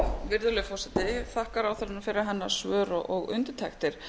virðulegi forseti ég þakka ráðherranum fyrir hennar svör og undirtektir